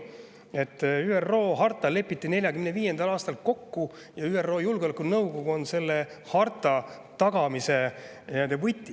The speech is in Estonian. ÜRO harta lepiti kokku 1945. aastal ja ÜRO Julgeolekunõukogu on selle tagamise võti.